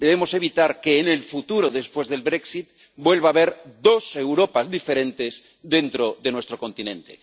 Debemos evitar que, en el futuro después del brexit vuelva a haber dos Europas diferentes dentro de nuestro continente.